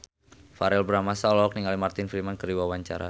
Verrell Bramastra olohok ningali Martin Freeman keur diwawancara